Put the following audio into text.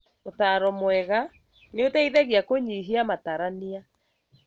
ũtaro mwega nĩũteithagia kũnyihia matarania